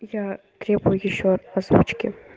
я требует ещё озвучке